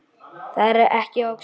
Það eru ekki góð skipti.